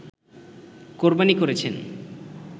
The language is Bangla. কোরবানী করেছেন